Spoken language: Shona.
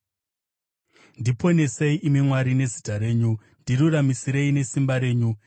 Ndiponesei, imi Mwari, nezita renyu; ndiruramisirei nesimba renyu.